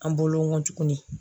An bolo n ko tugunni.